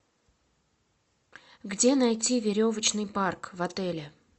где найти веревочный парк в отеле